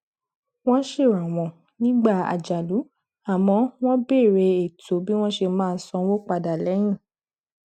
wọn ṣèrànwọ nígbà àjálù àmọ wọn bèèrè ètò bí wọn ṣe máa san owó padà lẹyìn